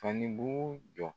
fanibugu jɔ.